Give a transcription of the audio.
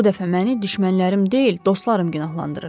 Bu dəfə məni düşmənlərim deyil, dostlarım günahlandırır.